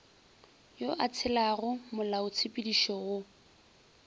yo a tshelago molaotshepedišo wo